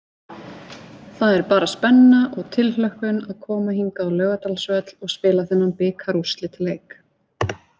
Það er bara spenna og tilhlökkun að koma hingað á Laugardalsvöll og spila þennan bikarúrslitaleik.